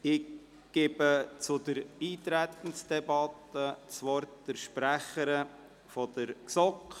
Ich gebe zur Eintretensdebatte der Sprecherin der GSoK das Wort.